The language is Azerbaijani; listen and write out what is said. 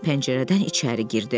Pəncərədən içəri girdi.